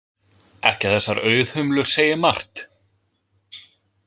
Ekki að þessar auðhumlur segi margt.